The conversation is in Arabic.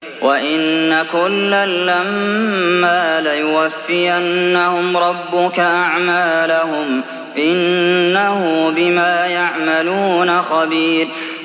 وَإِنَّ كُلًّا لَّمَّا لَيُوَفِّيَنَّهُمْ رَبُّكَ أَعْمَالَهُمْ ۚ إِنَّهُ بِمَا يَعْمَلُونَ خَبِيرٌ